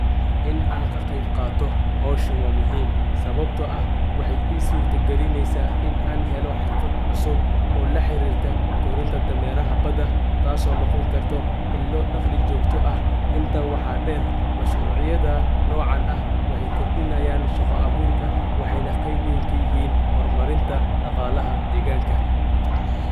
In aan kaqeeb qaato hawshaan wa muhiim sababto ah waxey ii surta galineysaa in aan heelo xirfad cusub oo la xarirta Korinta dameraha badaa taso noon karto in lo dhaqli jogta ah intaa waxa dheer mashruuc Yada noocan ah waxey kordinayan shaqa abuurka waxey na qeeb Wayn kayahiin hormarinta dhaqalaha deeganka .